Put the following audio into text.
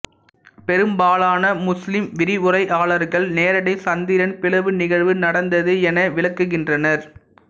பெரும்பாலான முஸ்லீம் விரிவுரையாளர்கள் நேரடி சந்திரன் பிளவு நிகழ்வு நடந்தது என விளக்குகின்றனர்